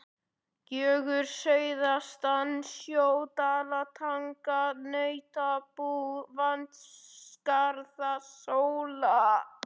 Gjögur suðaustan sjö, Dalatanga, Nautabú, Vatnsskarðshóla.